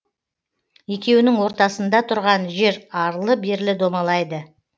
екеуінің ортасында тұрған жер арлы берлі домалайды